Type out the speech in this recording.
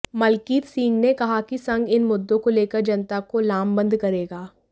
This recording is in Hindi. मलकीत सिंह ने कहा कि संघ इन मुद्दों को लेकर जनता को लामबंद करेगा